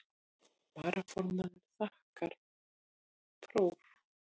Varaformaður þakkaði próf.